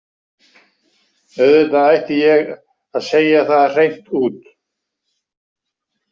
Auðvitað ætti ég að segja það hreint út.